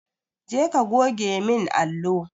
Je ka goge min allo!